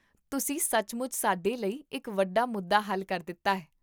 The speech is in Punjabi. ਤੁਸੀਂ ਸੱਚਮੁੱਚ ਸਾਡੇ ਲਈ ਇੱਕ ਵੱਡਾ ਮੁੱਦਾ ਹੱਲ ਕਰ ਦਿੱਤਾ ਹੈ